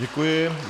Děkuji.